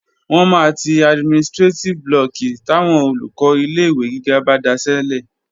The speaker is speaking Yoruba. Wọ́n máa ti administrétíf blọọ̀kì táwọn Olùkọ́ ilé-ìwé gíga bá daṣẹ́lẹ̀